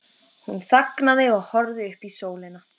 Hún þagnaði og horfði upp í sólina.